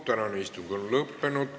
Tänane istung on lõppenud.